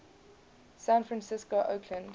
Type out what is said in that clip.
san francisco oakland